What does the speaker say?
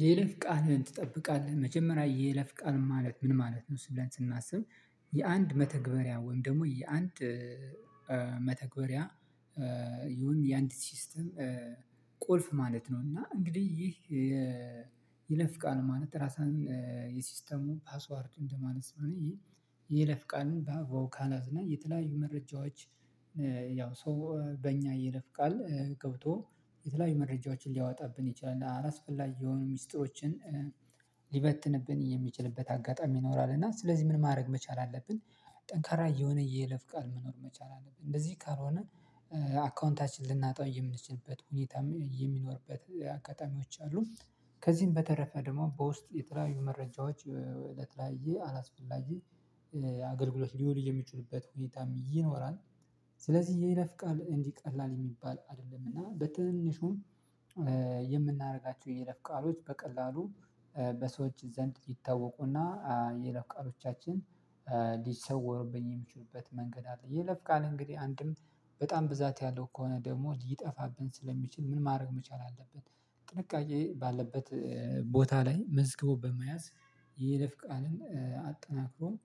የይለፍ ቃልን ትጠብቃለህ? መጀመሪያ የይለፍ ቃል ማለት ምን ማለት ነው? ብለን ስናስብ የአንድ መተግበሪያ ወይም ደግሞ የአንድ መተግበሪያ ይሁን የአንድ ሲስተም ቁልፍ ማለት ነው። እና እንግዲህ ይህ ይለፍ ቃል ማለት ራሳን የሲስተሙ ፓስዋርድ እንደማለት ስለሆነ ይህ የይለፍቃል በአግባቡ ካልያዝነው የተለያዩ መረጃዎች ያው ሰው በእኛ ይለፍ ቃል ገብቶ የተለያዩ መረጃዎችን ሊያወጣብን ይችላል። እና አላስፈላጊ የሆኑ ሚስጥሮችን ሊበትንብን የሚችልበት አጋጣሚ ይኖራል። እና ስለዚህ ምን ማድረግ መቻል አለብን ጠንካራ የሆነ የይለፍ ቃል መኖር መቻል አለብን። እንደዚህ ካልሆነ አካውንታችንን ልናጣው የምንችልበት ሁኔታ የሚኖርበት አጋጣሚዎች አሉ። ከዚህም በተረፈ ደግሞ በውስጥ የተለያዩ መረጃዎች ለተለያየ አላስፈላጊ አገልግሎት ሊውል የሚችሉበት ሁኔታም ይኖራል። ስለዚህ የለፍቃል ቃል እንዲህ ቀላል የሚባል አይደለም። እና በትንሹም የምናደርጋቸው የለፍ ቃሎች በቀላሉ በሰዎች ዘንድ ይታወቁና የይለፍ ቃሎቻችን ሊሰወርብን የሚችሉበት መንገድ አለ። የይለፍ ቃል እንግዲህ አንድም በጣም ብዛት ያለው ከሆነ ደግሞ ሊጠፋብን ስለሚችል ምን ማድረግ መቻል አለበት፥ ጥንቃቄ ባለበት ቦታ ላይ መዝግቦ በመያዝ ይልፍ ቃልን አጠናክሮም